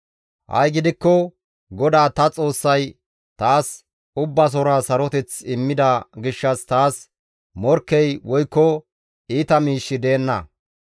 Ha7i gidikko GODAA ta Xoossay taas ubbasora saroteth immida gishshas taas morkkey woykko iita miishshi deenna.